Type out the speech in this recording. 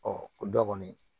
o dɔ kɔni